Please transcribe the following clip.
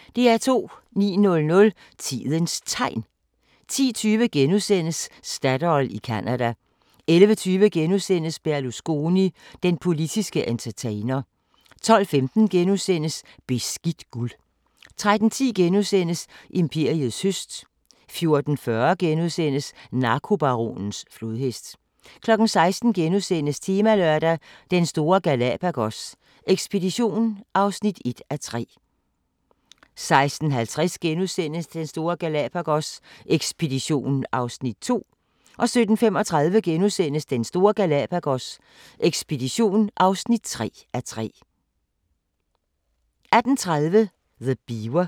09:00: Tidens Tegn 10:20: Statoil i Canada * 11:20: Berlusconi – den politske entertainer * 12:15: Beskidt guld * 13:10: Imperiets høst * 14:40: Narkobaronens flodhest * 16:00: Temalørdag: Den store Galapagos ekspedition (1:3)* 16:50: Den store Galapagos ekspedition (2:3)* 17:35: Den store Galapagos ekspedition (3:3)* 18:30: The Beaver